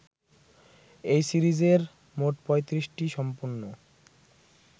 এই সিরিজের মোট ৩৫টি সম্পূর্ণ